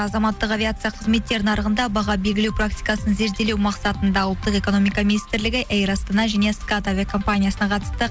азаматтық авиация қызметтер нарығында баға белгілеу практикасын зерделеу мақсатында ұлттық экономика министрлігі эйр астана және скат әуе компаниясына қатысты